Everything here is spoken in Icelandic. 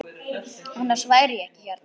Annars væri ég ekki hérna.